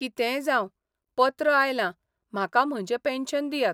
कितेंय जावं, पत्र आयलां, म्हाका म्हजे पेन्शन दियात.